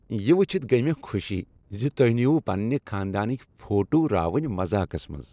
یہ وٕچھتھ گٔیہ مےٚ خوشی ز تۄہہ نیوٗوٕ پنٛنہ خانٛدانٕکۍ فوٹو راوٕنۍ مزاقس منٛز۔